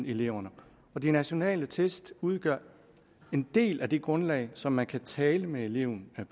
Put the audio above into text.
eleven og de nationale test udgør en del af det grundlag som man kan tale med eleven